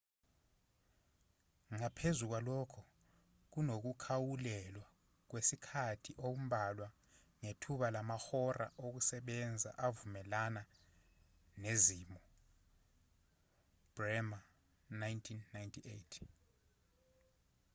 ngaphezu kwalokho kunokukhawulelwa kwesikhathi okumbalwa ngethuba lamahora okusebenza avumelana nezimo. bremer 1998